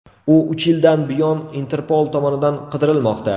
U uch yildan buyon Interpol tomonidan qidirilmoqda.